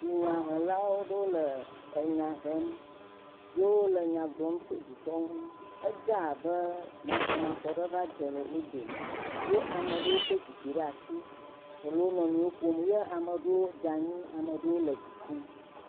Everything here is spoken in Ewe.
Dunyahela aɖewo le nya hem yewo le nya gblɔm tso dukɔ ŋu, edze abe masɔmasɔ va le wo dome eye ame aɖewo kɔ zikpui ɖe asi ele wonuiwo ƒom ya ame aɖewo dze anyi, ame aɖewo le du ƒum.